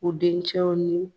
U dencɛw ni